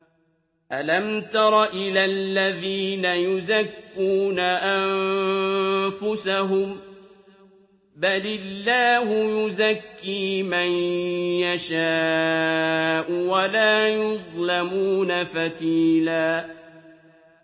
أَلَمْ تَرَ إِلَى الَّذِينَ يُزَكُّونَ أَنفُسَهُم ۚ بَلِ اللَّهُ يُزَكِّي مَن يَشَاءُ وَلَا يُظْلَمُونَ فَتِيلًا